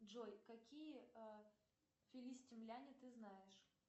джой какие филистимляне ты знаешь